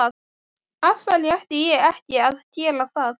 Af hverju ætti ég ekki að gera það?